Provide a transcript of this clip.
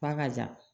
Ba ka jan